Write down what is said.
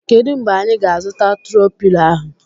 Kedụ mgbe anyị ga -azuta tro pilo ahụ?